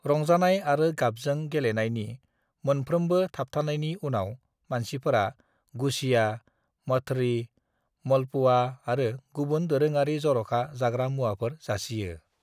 "रंजानाय आरो गाबजों गेलेनायनि मोनफ्रोमबो थाबथानायनि उनाव, मानसिफोरा गुझिया, मठरी, मालपुआ आरो गुबुन दोरोङारि जरखा जाग्रा मुवाफोर जासियो।"